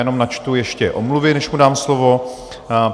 Jenom načtu ještě omluvy, než mu dám slovo.